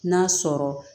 N'a sɔrɔ